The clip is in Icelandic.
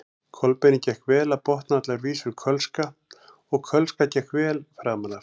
Kolbeini gekk vel að botna allar vísur kölska og kölska gekk vel framan af.